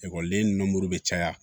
Ekɔliden ninnu bɛ caya